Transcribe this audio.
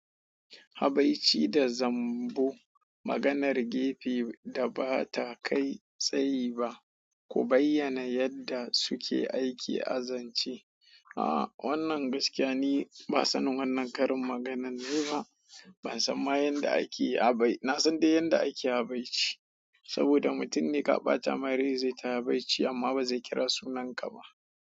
Habaici da zambo. Maganar gefe da ba ta kai tsayi ba, ku bayyana yadda suke aiki a zance. Aaa wannan gaskiya ni ba sannin wannan karin maganan nayi ba. Ban san ma yadda ake habai-- na san dai yadda ake habaici saboda mutum ne ka ɓata mai rai zai tayi baci amma ba zai kira sunanka ba.